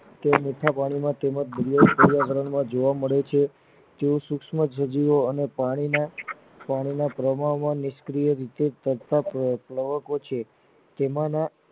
તેઓ મીઠા પાણી માં તેમજ ગુલાબી રંગ ના જોવા મળે છે જેઓ સુક્ષમ સજીવો પાણી ના પાણી ના પ્રમાણ માં નિસક્રીય પ્રેયકો છે જેમાના